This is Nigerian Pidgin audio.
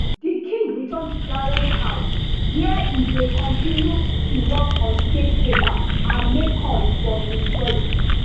di king return to clarence house wia e dey kontinu to work on state papers and make calls from im study